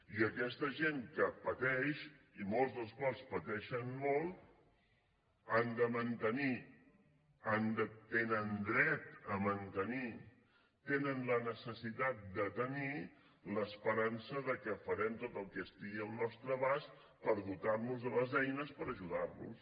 i aquesta gent que pateix i molts dels quals pateixen molt han de mantenir tenen dret a mantenir tenen la necessitat de tenir l’esperança que farem tot el que estigui al nostre abast per dotar nos de les eines per ajudar los